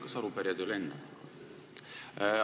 Kas arupärijad ei ole enne?